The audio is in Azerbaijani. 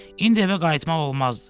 İndi evə qayıtmak olmazdı.